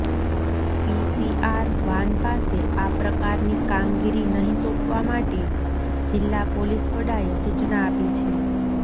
PCR van પાસે આ પ્રકારની કામગીરી નહીં સોંપવા માટે જિલ્લા પોલીસ વડાએ સૂચના આપી છે